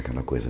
Aquela coisa.